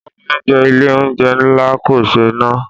Wọn ní oúnjẹ Ilé-oúnjẹ ńlá kò ṣé na.